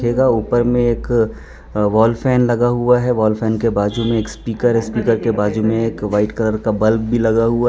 यगा ऊपर में एक वॉल फैन लगा हुआ है वॉल फैन के बाजू में स्पीकर है स्पीकर के बाजू में एक वाइट कलर का बल्ब भी लगा हुआ --